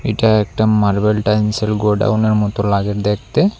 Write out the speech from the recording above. এটা একটা marble tiles -এর গোডাউনের -এর মতো লাগে দেখতে।